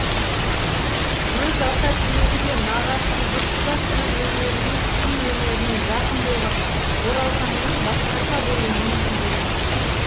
өз ата тегі де нағашы жұрты да сөз өнеріне күй өнеріне жақын болған оралханның басқаша болуы мүмкін де емес еді